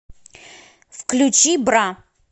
включи бра